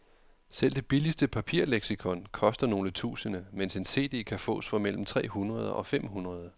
Selv det billigste papirleksikon koster nogle tusinde, mens en cd kan fås for mellem tre hundrede og fem hundrede.